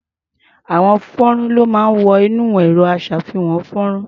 Àwo-fọ́nrán ló máa ń wọ inú ẹ̀rọ-aṣàfihàn-fọ́nrán.